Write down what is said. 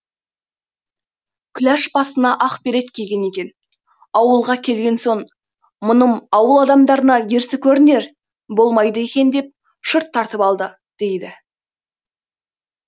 күләш басына ақ берет киген екен ауылға келген соң мұным ауыл адамдарына ерсі көрінер болмайды екен деп шыт тартып алды дейді